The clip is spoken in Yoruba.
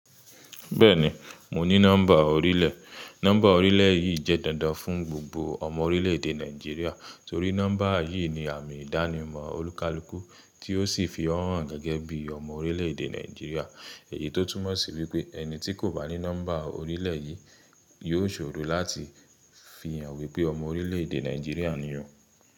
Bẹ́ẹ̀ni, mo ní nọ́mbà orílẹ̀. Nọ́mbà orílẹ̀ yìí jẹ́ dandan fún gbogbo ọmọ orílẹ̀ èdè Nàìjíríà torí nọ́mbà yìí ni àmì ìdánimọ̀ olúkalúkù tí ó sì fi hàn gẹ́gẹ́ bí ọmọ orílẹ̀ èdè Nàìjíríà èyí tó túmọ̀ sí wípé ẹni tí kò bá ní nọ́mbà orílẹ̀ yìí yóò ṣòro láti fi hàn wípé ọmọ orílẹ̀ èdè Nàìjíríà ni ó.